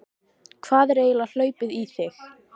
Hvað er eiginlega hlaupið í þig?